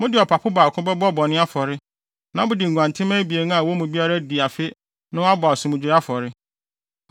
Mode ɔpapo baako bɛbɔ bɔne afɔre. Na mode nguantenmma abien a wɔn mu biara adi afe no abɔ asomdwoe afɔre.